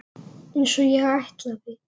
Einsog ég ætlaði.